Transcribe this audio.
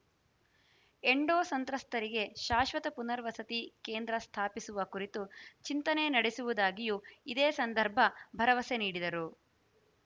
endo ಸಂತ್ರಸ್ತರಿಗೆ ಶಾಶ್ವತ ಪುನರ್ವಸತಿ ಕೇಂದ್ರ ಸ್ಥಾಪಿಸುವ ಕುರಿತು ಚಿಂತನೆ ನಡೆಸುವುದಾಗಿಯೂ ಇದೇ ಸಂದರ್ಭ ಭರವಸೆ ನೀಡಿದರು